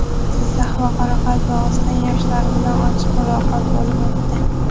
Jizzax va Qoraqalpog‘iston yoshlari bilan ochiq muloqot bo‘lib o‘tdi;.